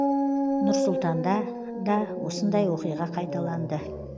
нұр сұлтанда да осындай оқиға қайталанды